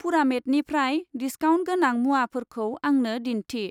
पुरामेटनिफ्राय discount गोनां मुवाफोरखौ आंनो दिन्थि।